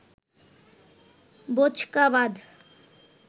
বোঁচকা বাঁধ